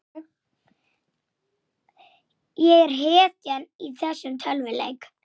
Ekki skal ég hrekkja þig.